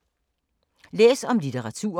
Læs om litteratur